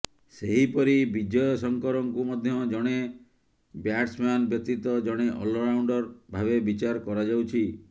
ସେହିପରି ବିଜୟ ଶଙ୍କରଙ୍କୁ ମଧ୍ୟ ଜଣେ ବ୍ୟାଟସ୍ମ୍ୟାନ୍ ବ୍ୟତୀତ ଜଣେ ଅଲରାଉଣ୍ଡର ଭାବେ ବିଚାର କରାଯାଉଛି